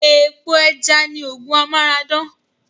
Epo ẹja ni oògùn Amara dán